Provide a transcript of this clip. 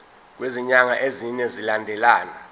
kwezinyanga ezine zilandelana